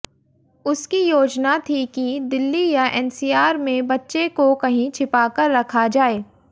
उसकी योजना थी कि दिल्ली या एनसीआर में बच्चे को कहीं छिपाकर रखा जाए